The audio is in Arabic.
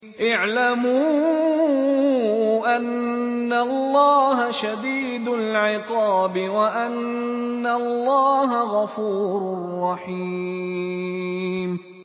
اعْلَمُوا أَنَّ اللَّهَ شَدِيدُ الْعِقَابِ وَأَنَّ اللَّهَ غَفُورٌ رَّحِيمٌ